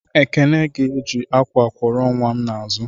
Ekene ga-eji akwa kwọrọ nwa m n'azụ.